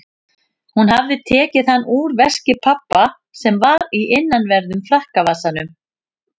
Hún hafði tekið hann úr veski pabba sem var í innanverðum frakkavasanum.